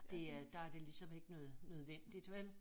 Det er der det ligesom ikke nød nødvendigt vel